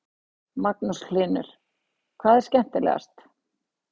Magnús Hlynur: Hvað var skemmtilegast?